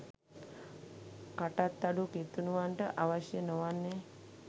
කටත් අඩු කිතුණුවන්ට අවශ්‍ය නොවන්නේ